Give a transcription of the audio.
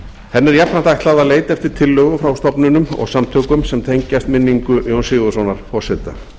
henni er jafnframt ætlað að leita eftir tillögum frá stofnunum og samtökum sem tengjast minningu jóns sigurðssonar forseta